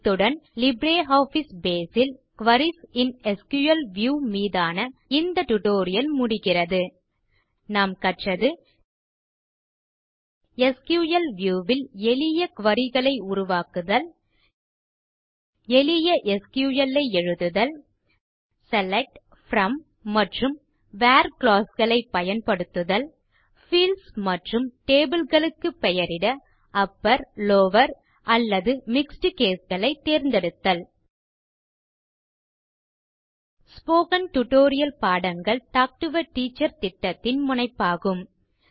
இத்துடன் LibreOffice Base ல் queries இன் எஸ்கியூஎல் வியூ மீதான இந்த டியூட்டோரியல் முடிகிறது நாம் கற்றது எஸ்கியூஎல் வியூ ல் எளிய குரி க்களை உருவாக்குதல் எளிய எஸ்கியூஎல் ஐ எழுதுதல் செலக்ட் ப்ரோம் மற்றும் வேர் க்ளாஸ் களை பயன்படுத்துதல் பீல்ட்ஸ் மற்றும் டேபிள் களுக்கு பெயரிட அப்பர் லவர் அல்லது மிக்ஸ்ட் கேஸ் களை தேர்ந்தெடுத்தல் ஸ்போகன் டுடோரியல் பாடங்கள் டாக் டு எ டீச்சர் திட்டத்தின் முனைப்பாகும்